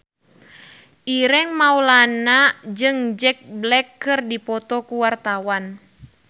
Ireng Maulana jeung Jack Black keur dipoto ku wartawan